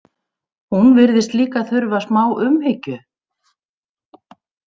Hún virðist líka þurfa smá umhyggju.